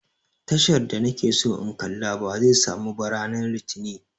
Tashar da na ke so in kalla ba zai samu ba ranar litinin